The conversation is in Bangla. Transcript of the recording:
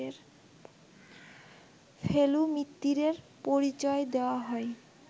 ফেলু মিত্তিরের পরিচয় দেওয়া হয়